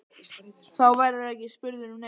Þá verðurðu ekki spurður um neitt.